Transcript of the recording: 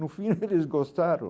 No fim eles gostaram.